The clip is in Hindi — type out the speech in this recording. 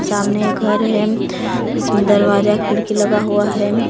सामने घर है इसमें दरवाजा खिड़की लगा हुआ है।